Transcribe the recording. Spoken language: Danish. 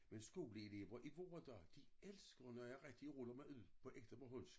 Men skoleelever i vore dage elsker når jeg rigtig ruller mig ud på ægte bornholmsk